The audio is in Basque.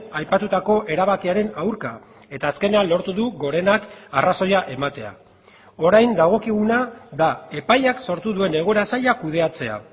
aipatutako erabakiaren aurka eta azkenean lortu du gorenak arrazoia ematea orain dagokiguna da epaiak sortu duen egoera zaila kudeatzea